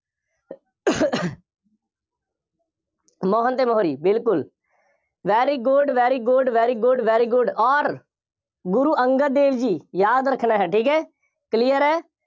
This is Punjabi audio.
ਮੋਹਨ ਅਤੇ ਮੋਹਰੀ, ਬਿਲਕੁੱਲ very good, very good, very good, very good ਅੋਰ ਗੁਰੂ ਅੰਗਦ ਦੇਵ ਜੀ, ਯਾਦ ਰੱਖਣਾ ਹੈ, ਠੀਕ ਹੈ। clear ਹੈ।